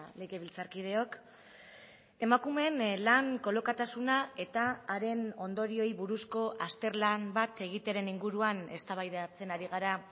legebiltzarkideok emakumeen lan kolokatasuna eta haren ondorioei buruzko azterlan bat egitearen inguruan eztabaidatzen ari gara